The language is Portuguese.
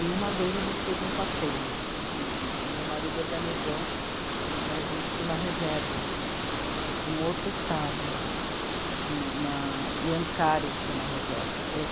E uma vez a gente fez um passeio, assim, o meu marido organizou da gente para uma reserva no outro estado, na, em Ancari, chama a reserva.